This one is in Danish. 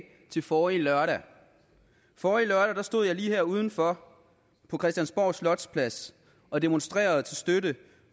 til forrige lørdag forrige lørdag stod jeg lige her udenfor på christiansborgs slotsplads og demonstrerede til støtte